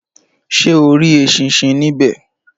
Ṣé o rí eṣinṣin nibe